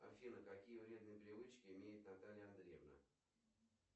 афина какие вредные привычки имеет наталья андреевна